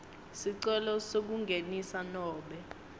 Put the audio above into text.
sicelo sekungenisa nobe